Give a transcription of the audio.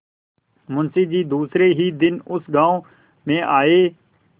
मुँशी जी दूसरे ही दिन उस गॉँव में आये